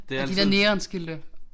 Det altid